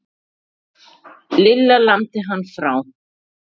Lilla lamdi hann frá.